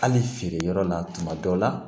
Hali feere yɔrɔ la tuma dɔw la